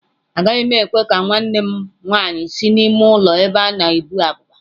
Agaghị m ekwe ka nwanne m nwanyị si n'ime ụlọ ebe a na-ebu abụba.